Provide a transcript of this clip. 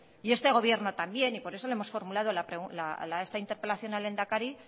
y este gobierno también y por eso lo hemos formulado esta interpelación al lehendakari